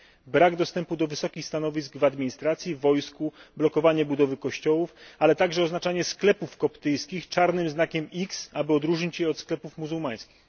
brak dostępu do wysokich stanowisk w administracji, wojsku, blokowanie budowy kościołów, ale także oznaczanie sklepów koptyjskich czarnym znakiem x, aby odróżnić je od sklepów muzułmańskich.